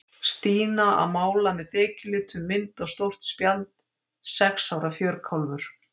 Stína að mála með þekjulitum mynd á stórt spjald, sex ára fjörkálfur.